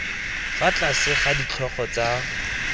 fa tlase ga ditlhogo tsa